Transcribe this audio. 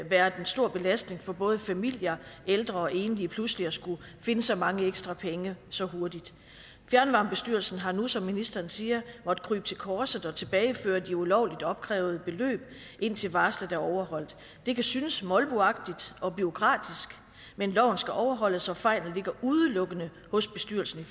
været en stor belastning for både familier ældre og enlige pludselig at skulle finde så mange ekstra penge så hurtigt fjernvarmebestyrelsen har nu som ministeren siger måttet krybe til korset og tilbageføre de ulovligt opkrævede beløb indtil varslet er overholdt det kan synes molboagtigt og bureaukratisk men loven skal overholdes og fejlen ligger udelukkende hos bestyrelsen